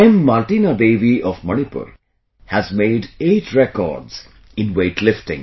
Martina Devi of Manipur has made eight records in weightlifting